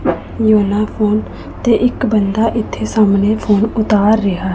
Phone ਅਤੇ ਇੱਕ ਬੰਦਾ ਇੱਥੇ ਸਾਹਮਨੇ ਫੋਨ ਉਤਾਰ ਰਿਹਾ ਹੈ।